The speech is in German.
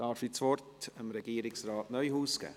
Ich darf das Wort Regierungsrat Neuhaus geben.